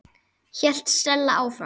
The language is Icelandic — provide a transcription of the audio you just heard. hélt Stella áfram.